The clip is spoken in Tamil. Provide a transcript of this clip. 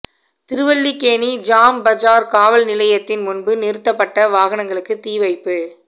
திருவல்லிக்கேணி ஜாம் பஜார் காவல் நிலையத்தின் முன்பு நிறுத்தப்பட்ட வாகனங்களுக்கு தீ வைப்பு